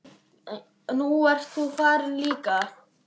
Nú ert þú farin líka.